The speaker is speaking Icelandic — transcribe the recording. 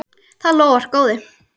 Það lofar góðu.